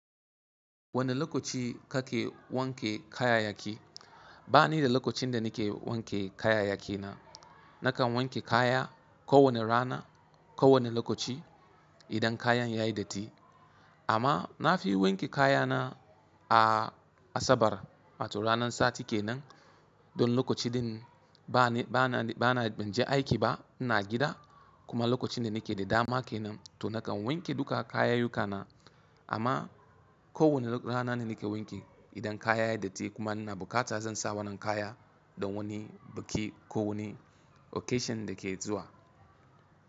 Wane lokaci kake wanke kayayyaki? Ba ni da lokaci da nake wanke kayayyaki na. Nakan wanke kaya kowane rana, kowane lokaci idan kayan yayi datti. Amma na fi wanke kayana a Asabar, wato ranar sati ke nan don lokacin ba na, ba na, ban je aiki ba, ina gida kuma lokacin da nake da dama ke nan to nakan wanke duka kayayyukana. Amma kowane rana nake wanki idan kaya ya yi datti kuma ina bukata zan sa wannan kaya don wani biki ko wani occasion da ke zuwa.